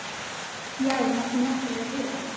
Já, við máttum náttúrlega heyra það.